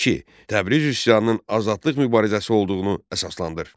Təbriz üsyanının azadlıq mübarizəsi olduğunu əsaslandır.